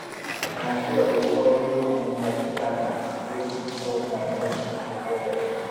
na so i dey always find better partners wey fit help my hustle grow well-well.